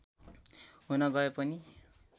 हुन गए पनि